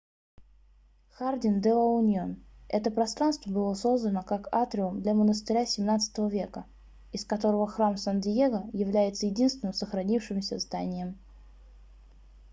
хардин-де-ла-уньон это пространство было создано как атриум для монастыря xvii века из которого храм сан-диего является единственным сохранившимся зданием